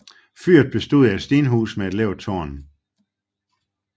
Fyret bestod af et stenhus med et lavt tårn